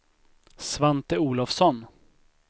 Svante Olofsson